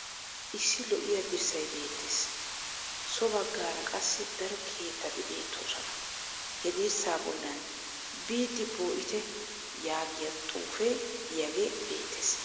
Issi lo"iya dirssay beettes. So baggaara qassi daro keettati beettoosona. He dirssaa bollan " biidi po'ite" yaagiya xuufee diyagee beettes.